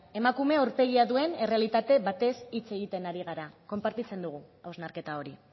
emakume aurpegia duen errealitate batez hitz egiten ari gara konpartitzen dugu hausnarketa hori